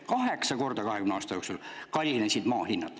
Kaheksa korda kallinesid maa hinnad 20 aasta jooksul.